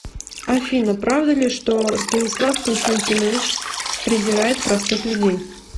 афина правда ли что станислав константинович презирает простых людей